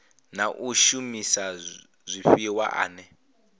na u shumisa zwifhiwa ane